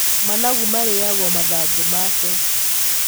Managu marĩyagwo mathangũ make.